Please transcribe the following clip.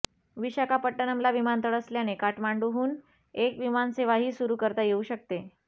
विशाखापट्टणमला विमानतळ असल्याने काठमांडूहून एक विमानसेवाही सुरू करता येऊ शकते